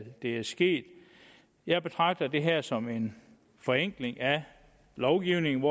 det er sket jeg betragter det her forslag som en forenkling af lovgivningen